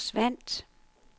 forsvandt